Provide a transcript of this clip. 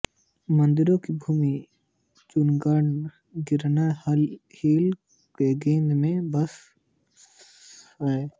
मंदिरों की भूमि जूनागढ़ गिरनार हिल की गोद में बसा हुआ है